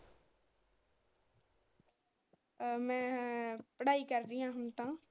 ਅਹ ਮੈ ਪੜਾਈ ਕਰਦੀ ਹੁਣ ਤਾ।